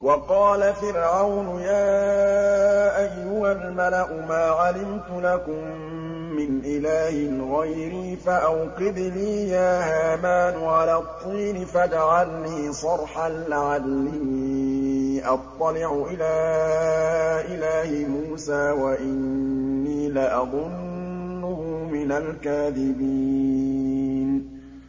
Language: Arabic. وَقَالَ فِرْعَوْنُ يَا أَيُّهَا الْمَلَأُ مَا عَلِمْتُ لَكُم مِّنْ إِلَٰهٍ غَيْرِي فَأَوْقِدْ لِي يَا هَامَانُ عَلَى الطِّينِ فَاجْعَل لِّي صَرْحًا لَّعَلِّي أَطَّلِعُ إِلَىٰ إِلَٰهِ مُوسَىٰ وَإِنِّي لَأَظُنُّهُ مِنَ الْكَاذِبِينَ